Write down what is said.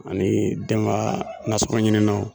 Ani dɛnga nasɔkɔn ɲininaw.